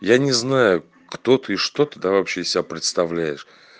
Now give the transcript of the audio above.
я не знаю кто ты и что ты там вообще из себя представляешь